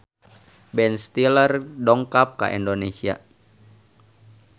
Ben Stiller dongkap ka Indonesia